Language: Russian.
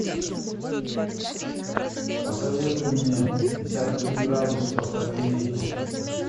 посоветуй мне пятьдесят один градус по фаренгейту